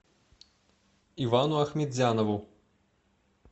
ивану ахметзянову